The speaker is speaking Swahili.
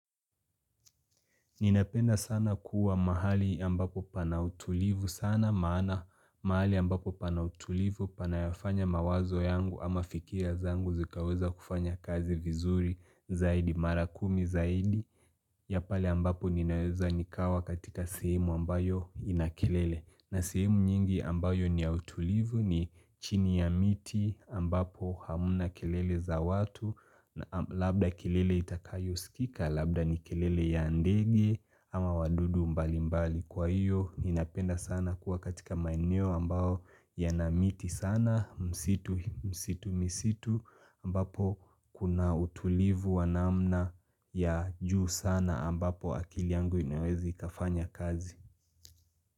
Ninapenda sana kuwa mahali ambapo pana utulivu sana maana mahali ambapo pana utulivu panayofanya mawazo yangu ama fikiria zangu zikaweza kufanya kazi vizuri zaidi mara kumi zaidi ya pale ambapo ninaweza nikawa katika sehemu ambayo inakilele. Nasimu nyingi ambayo niya utulivu ni chini ya miti ambapo hamna kelele za watu Labda kelele itakayosikika, labda ni kelele ya ndege ama wadudu mbali mbali Kwa hiyo, ninapenda sana kuwa katika maeneo ambayo yana miti sana msitu, msitu, msitu ambapo kuna utulivu wanamna ya juu sana ambapo akili yangu inawezi kafanya kazi.